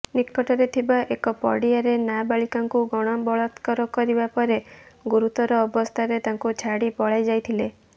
ନିକଟରେ ଥିବା ଏକ ପଡିଆରେ ନାବାଳିକାଙ୍କୁ ଗଣବଳାତ୍କାର କରିବା ପରେ ଗୁରୁତର ଅବସ୍ଥାରେ ତାଙ୍କୁ ଛାଡି ପଳାଇ ଯାଇଥିଲେ